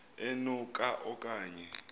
eno ka okanye